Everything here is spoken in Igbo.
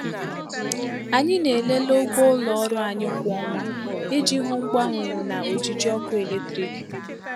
Anyị na-elele ụgwọ ụlọ ọrụ anyị kwa ọnwa iji hụ mgbanwe na ojiji ọkụ eletrik.